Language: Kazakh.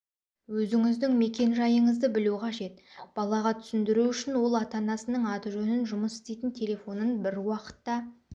өзіңіздің мекен-жайыңызды білу қажет балаға түсіндіру үшін ол ата-анасының аты-жөнін жұмыс істейтін телефонын бір уақытта